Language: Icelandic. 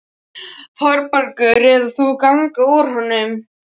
ÞÓRBERGUR: Eða þú ganga úr honum.